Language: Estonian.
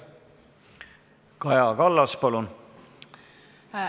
Kaja Kallas, palun!